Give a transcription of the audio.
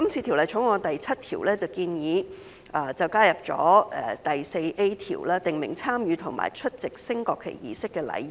《條例草案》第7條建議加入第 4A 條，訂明參與或出席升國旗儀式的禮儀。